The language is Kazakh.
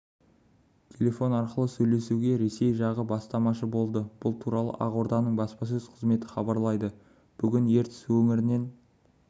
телефон арқылы сөйлесуге ресей жағы бастамашы болды бұл туралы ақорданың баспасөз қызметі хабарлайды бүгін ертіс өңірінен